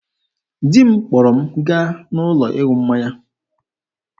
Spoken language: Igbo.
Di m kpọrọ m gaa n'ụlọ ịṅụ mmanya.